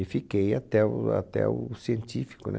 E fiquei até o até o científico, né?